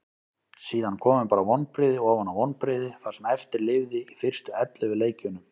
Síðan komu bara vonbrigði ofan á vonbrigði það sem eftir lifði í fyrstu ellefu leikjunum.